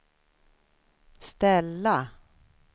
ställa